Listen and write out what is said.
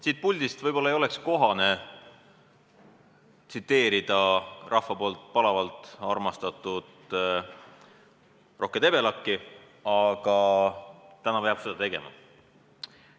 Siit puldist võib-olla ei oleks kohane tsiteerida rahva poolt palavalt armastatud Rohke Debelakki, aga täna peab seda tegema.